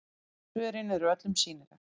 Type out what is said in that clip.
Svörin eru öllum sýnileg